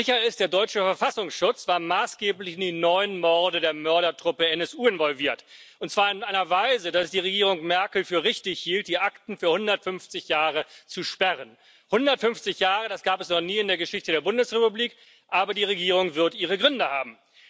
Sicher ist Der deutsche Verfassungsschutz war maßgeblich in die neun Morde der Mördertruppe NSU involviert, und zwar in einer Weise, dass es die Regierung Merkel für richtig hielt, die Akten für 150 Jahre zu sperren 150 Jahre, das gab es noch nie in der Geschichte der Bundesrepublik, aber die Regierung wird ihre Gründe haben.